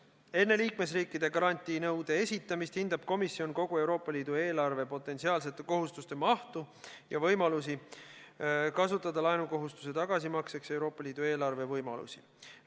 Enne liikmesriikide garantiinõude esitamist hindab komisjon kogu Euroopa Liidu eelarve potentsiaalsete kohustuste mahtu ja võimalusi kasutada laenukohustuse tagasimakseks Euroopa Liidu eelarve võimalusi.